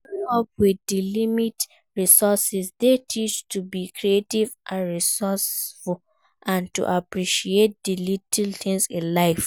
Growing up with limited resources dey teach to be creative and resourceful and to appreciate di little things in life.